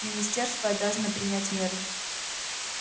министерство обязано принять меры